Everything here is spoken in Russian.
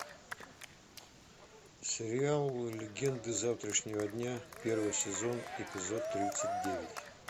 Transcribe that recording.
сериал легенды завтрашнего дня первый сезон эпизод тридцать девять